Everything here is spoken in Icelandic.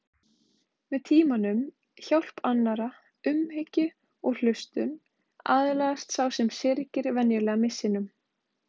Með tímanum, hjálp annarra, umhyggju og hlustun aðlagast sá sem syrgir venjulega missinum.